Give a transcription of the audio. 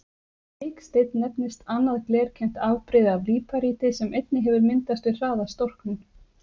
Biksteinn nefnist annað glerkennt afbrigði af líparíti sem einnig hefur myndast við hraða storknun.